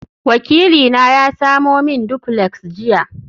wakilina ya samo min duplex jiya